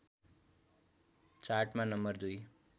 चार्टमा नम्बर २